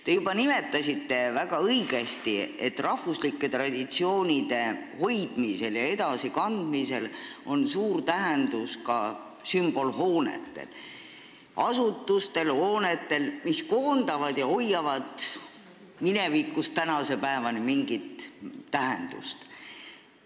Te juba nimetasite, väga õigesti, et rahvuslike traditsioonide hoidmisel ja edasikandmisel on suur tähendus ka sümbolhoonetel – asutustel, mis koondavad ja hoiavad minevikust tänase päevani mingit tähendust.